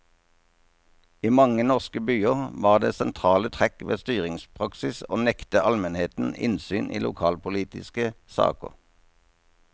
I mange norske byer var det sentrale trekk ved styringspraksis å nekte almenheten innsyn i lokalpolitiske saker.